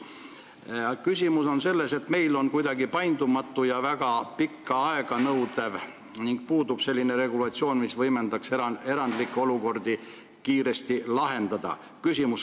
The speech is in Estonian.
Küsimus on selles, et meil on see asi kuidagi paindumatu ja väga pikka aega nõudev ning puudub regulatsioon, mis võimaldaks erandlikke olukordi kiiresti lahendada.